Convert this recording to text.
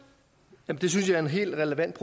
at det kan have